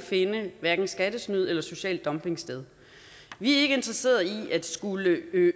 finde hverken skattesnyd eller social dumping sted vi er ikke interesserede i at skulle